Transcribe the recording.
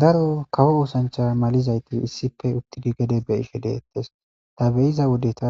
Daro kawo wosancha malizayti issife uttidi gede be ishe deettes ta beyiza wodeta